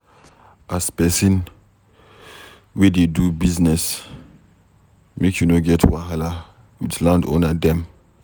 As pesin wey dey do business, make you no get wahala wit landowner dem.